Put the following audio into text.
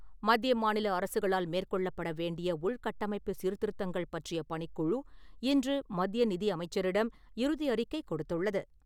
மத்திய மாநில அரசுகளால் மேற்கொள்ளப்பட வேண்டிய உள்கட்டமைப்பு சீர்திருத்தங்கள் பற்றிய பணிக்குழு , இன்று மத்திய நிதி அமைச்சரிடம் இறுதி அறிக்கை கொடுத்துள்ளது.